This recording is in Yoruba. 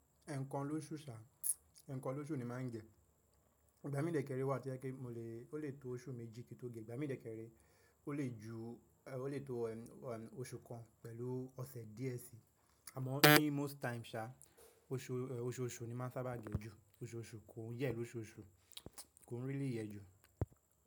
Ẹ̀ẹ̀kan ló sú ṣá, ẹ̀ẹ̀kan ló sú ni ma ń gẹ, ìgbà mí dẹ́kẹrẹ wà to jẹ pẹ o lè tó oṣù méjì ki n tó ge. Ìgbà mí dẹ́kẹrẹ o lè tó oṣù kan pẹ̀lú ọ̀sẹ̀ díẹ̀ si, àmọ́ ní most time ṣá, oṣooṣù ni ma ń sábà ge ju. Oṣooṣù kò yẹ́ lóṣooṣù, kò ń rí lí yẹ ju.